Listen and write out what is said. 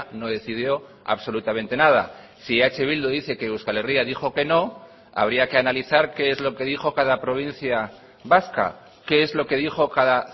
no decidió absolutamente nada si eh bildu dice que euskal herria dijo queno habría que analizar qué es lo que dijo cada provincia vasca qué es lo que dijo cada